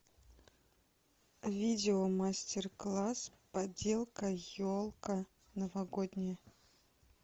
видео мастер класс поделка елка новогодняя